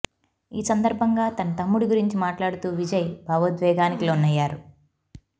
ఈ సందర్భంగా తన తమ్ముడి గురించి మాట్లాడుతూ విజయ్ భావోద్వేగానికి లోనయ్యారు